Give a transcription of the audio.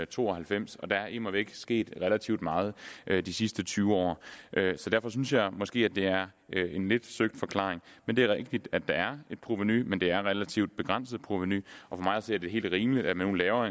to og halvfems og der er immervæk sket relativt meget de sidste tyve år så derfor synes jeg måske at det er en lidt søgt forklaring men det er rigtigt at der er et provenu men det er et relativt begrænset provenu og for mig at se er det helt rimeligt at vi nu laver